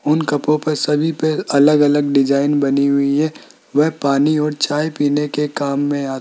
उन कपों पे सभी पे अलग अलग डिजाइन बनी हुई है वह पानी और चाय पीने के काम में आ --